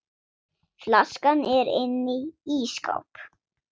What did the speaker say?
Flaskan er inni í ísskáp.